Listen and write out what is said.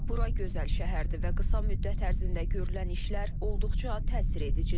Bura gözəl şəhərdir və qısa müddət ərzində görülən işlər olduqca təsir edicidir.